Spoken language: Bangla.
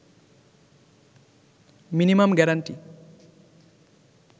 minimum guarantee